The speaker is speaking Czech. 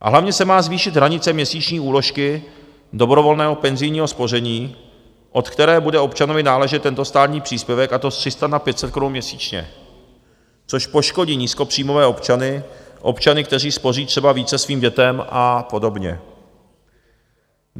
A hlavně se má zvýšit hranice měsíční úložky dobrovolného penzijního spoření, od které bude občanovi náležet tento státní příspěvek, a to z 300 na 500 korun měsíčně, což poškodí nízkopříjmové občany, občany, kteří spoří třeba více svým dětem a podobně.